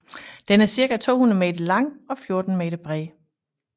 Den er cirka 200 meter lang og 14 meter bred